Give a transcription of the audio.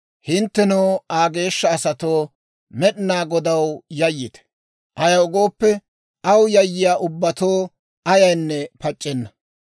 Hinttenoo, Aa geeshsha asatoo, Med'inaa Godaw yayyite; ayaw gooppe, aw yayyiyaa ubbatoo ayaynne pac'c'enna.